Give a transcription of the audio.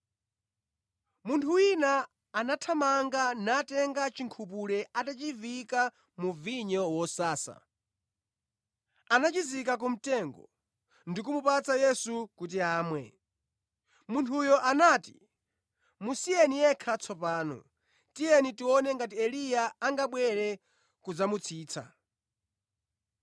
Munthu wina anathamanga, natenga chinkhupule atachiviyika mu vinyo wosasa, anachizika ku mtengo, ndi kumupatsa Yesu kuti amwe. Munthuyo anati, “Musiyeni yekha tsopano. Tiyeni tione ngati Eliya angabwere kudzamutsitsa.”